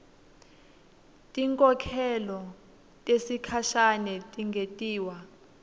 tinkhokhelo tesikhashane tingentiwa